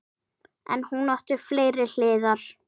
En hún átti fleiri hliðar.